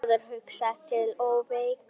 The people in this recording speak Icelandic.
Mér verður hugsað til Ófeigs.